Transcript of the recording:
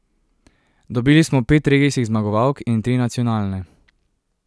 Dobili smo pet regijskih zmagovalk in tri nacionalne.